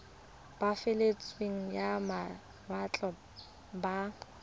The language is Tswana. ba pabalesego ya mawatle ba